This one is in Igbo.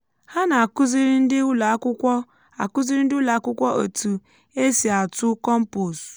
há nà àkụziri ndị ụlọakwụkwọ àkụziri ndị ụlọakwụkwọ ètù esị atụ kọmpost